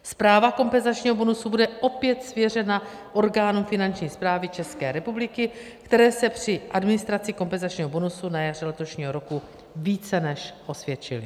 Správa kompenzačního bonusu bude opět svěřena orgánům Finanční správy České republiky, které se při administraci kompenzačního bonusu na jaře letošního roku více než osvědčily.